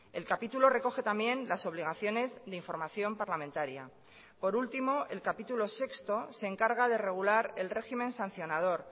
el capítulo recoge también las obligaciones de información parlamentaria por último el capítulo sexto se encarga de regular el régimen sancionador